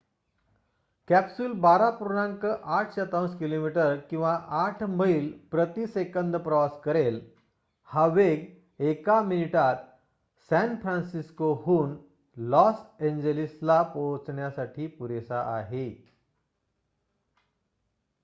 Capsule १२.८ किमी किंवा ८ मैल प्रति सेकंद प्रवास करेल. हा वेग एका मिनिटात सॅन फ्रान्सिस्कोहून लॉस एॅन्जेलिसला जाण्यासाठी पुरेसा आहे